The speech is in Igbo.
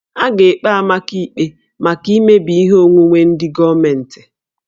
A ga-ekpe Amaka ikpe maka imebi ihe onwunwe ndị gọọmentị